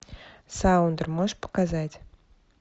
саундер можешь показать